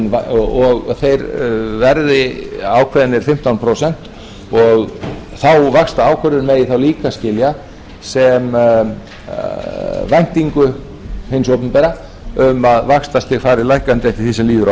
og að þeir veðri ákveðnir fimmtán prósent og þá vaxtaákvörðun megi þá líka skilja sem væntingu hins opinbera um að vaxtastig fari lækkandi eftir því sem líður á